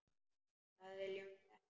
Það viljum við ekki.